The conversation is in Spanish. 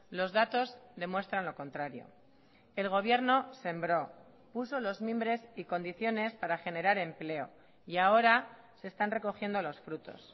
los datos demuestran lo contrario el gobierno sembró puso los mimbres y condiciones para generar empleo y ahora se están recogiendo los frutos